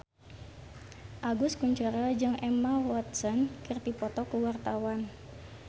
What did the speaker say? Agus Kuncoro jeung Emma Watson keur dipoto ku wartawan